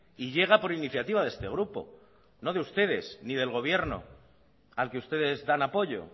y llega por iniciativa de este grupo no de ustedes ni del gobierno al que ustedes dan apoyo